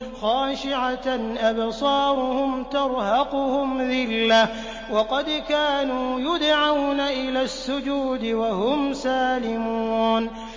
خَاشِعَةً أَبْصَارُهُمْ تَرْهَقُهُمْ ذِلَّةٌ ۖ وَقَدْ كَانُوا يُدْعَوْنَ إِلَى السُّجُودِ وَهُمْ سَالِمُونَ